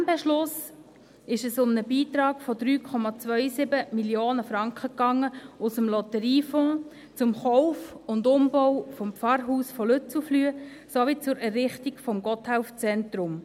In diesem Beschluss ging es um einen Beitrag von 3,27 Mio. Franken aus dem Lotteriefonds zum Kauf und Umbau des Pfarrhauses Lützelflüh sowie zur Errichtung des Gotthelf-Zentrums.